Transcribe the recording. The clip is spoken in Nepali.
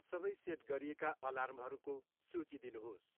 सबै सेट गरिएका अलार्महरूको सूची दिनुहोस्।